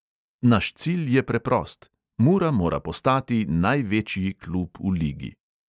Naš cilj je preprost: mura mora postati največji klub v ligi.